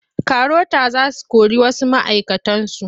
Karota za su kori wasu ma'aikatansu.